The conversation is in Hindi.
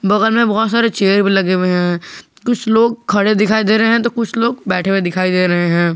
बगल में बहोत सारे चेयर भी लगे हुए हैं कुछ लोग खड़े दिखाई दे रहे हैं तो कुछ लोग बैठे हुए दिखाई दे रहे हैं।